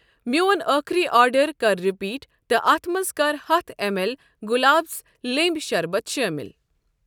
میٛون ٲخری آرڈر کر رِپیٖٹ تہٕ اتھ منٛز کر ہَتھ ایم اٮ۪ل گلابس لیٚنٛبۍ شربت شٲمِل۔